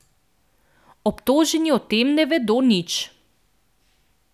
Obtoženi o tem ne vedo nič.